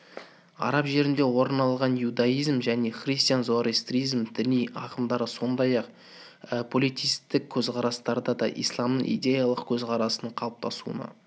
араб жерінде орын алған иудаизм және христиан зороастризм діни ағымдары сондай-ақ политеистік көзқарастарды да исламның идеялық көзқарасының қалыптасуына